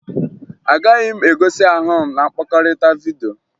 Agaghị m egosi ahụ m na mkpakọrịta vidyo